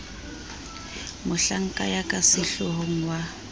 mohlanka ya ka sehloohong wa